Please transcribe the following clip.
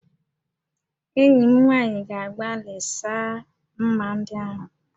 Enyi m nwaanyị ga-agbalị saa m̀mà ndị ahụ